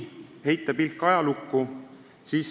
Heidame pilgu ajalukku.